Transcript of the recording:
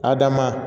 Adama